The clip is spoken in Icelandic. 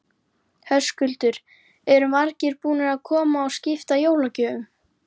Höskuldur: Eru margir búnir að koma og skipta jólagjöfum?